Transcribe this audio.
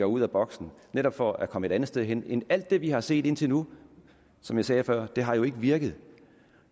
ud af boksen netop for at komme et andet sted hen end alt det vi har set indtil nu som jeg sagde før har det jo ikke virket